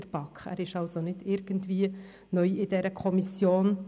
der BaK. Er ist also nicht irgendwie neu in dieser Kommission.